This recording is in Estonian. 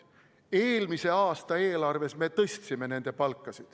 Eelmise aasta eelarves me tõstsime nende palka.